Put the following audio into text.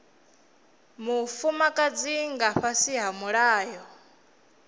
mufumakadzi nga fhasi ha mulayo